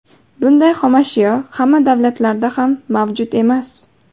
Bunday xomashyo hamma davlatlarda ham mavjud emas.